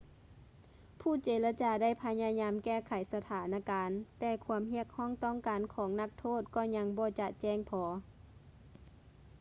ຜູ້ເຈລະຈາໄດ້ພະຍາຍາມແກ້ໄຂສະຖານະການ ແຕ່ຄວາມຮຽກຮ້ອງຕ້ອງການຂອງນັກໂທດກໍຍັງບໍ່ຈະແຈ້ງພໍ